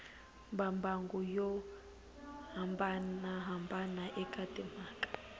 mimbangu yo hambanahambana eka timhaka